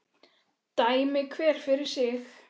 Dæmi hver fyrir sig.